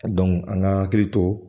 an ka hakili to